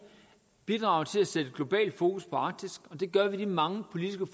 bidrage til at sætte globalt fokus på arktis og det gør vi i de mange politiske